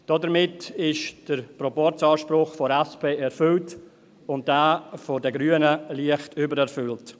Damit ist der Proporzanspruch der SP erfüllt und jener der Grünen leicht übererfüllt.